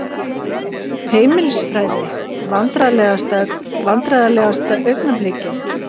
Heimilisfræði Vandræðalegasta augnablik?